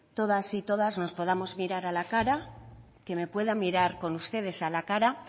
todos y todas nos podamos mirar a la cara que me pueda mirar con ustedes a la cara